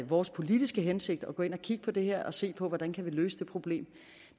vores politiske hensigt at gå ind at kigge på det her og se på hvordan vi kan løse det problem